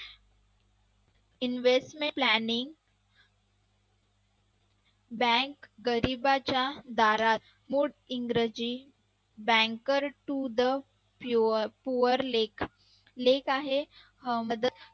Investment planning Bank गरीबाच्या दारात मोठे इंग्रजी banker to the poor लेख आहे.